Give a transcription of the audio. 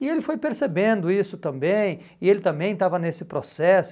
E ele foi percebendo isso também, e ele também estava nesse processo.